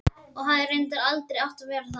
Og hefði reyndar aldrei átt að verða það.